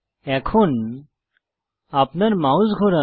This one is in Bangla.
এখন আপনার মাউস ঘোরান